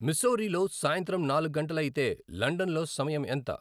మిస్సౌరీలో సాయంత్రం నాలుగు గంటలు అయితే లండన్లో సమయం ఎంత